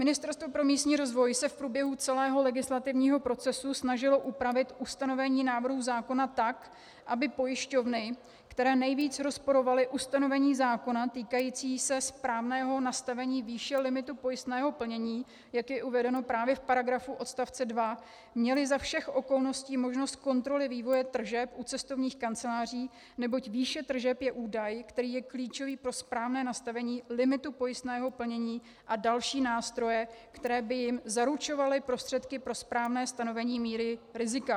Ministerstvo pro místní rozvoj se v průběhu celého legislativního procesu snažilo upravit ustanovení návrhu zákona tak, aby pojišťovny, které nejvíce rozporovaly ustanovení zákona týkající se správného nastavení výše limitu pojistného plnění, jak je uvedeno právě v paragrafu (8) odstavce 2, měly za všech okolností možnost kontroly vývoje tržeb u cestovních kanceláří, neboť výše tržeb je údaj, který je klíčový pro správné nastavení limitu pojistného plnění a další nástroje, které by jim zaručovaly prostředky pro správné stanovení míry rizika.